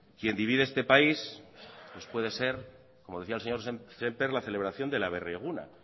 quien divide este país pues puede ser como decía el señor semper la celebración del aberri eguna